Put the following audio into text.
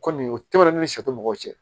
Kɔni o tɛmɛnen ni sa tɛ mɔgɔw cɛ